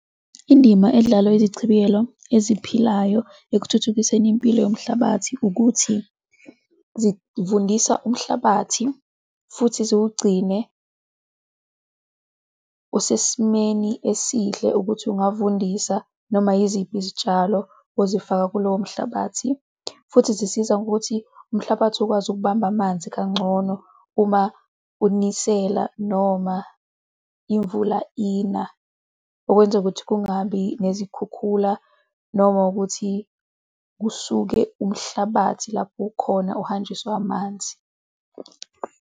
Indima edlalwa izichibiyelo eziphilayo ekuthuthukiseni impilo yomhlabathi ukuthi zivundisa umhlabathi futhi ziwugcine usesimeni esihle ukuthi ungavundisa noma yiziphi izitshalo ozifaka kulowo mhlabathi, futhi zisiza ngokuthi umhlabathi ukwazi ukubamba amanzi kangcono uma unisela noma imvula ina, okwenza ukuthi kungabi nezikhukhula noma ukuthi kusuke umhlabathi lapho ukhona, uhanjiswa amanzi.